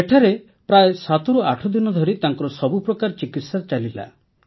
ଏଠାରେ ପ୍ରାୟ ୭୮ ଦିନ ଧରି ତାଙ୍କର ସବୁପ୍ରକାର ଚିକିତ୍ସା ଚାଲିଲା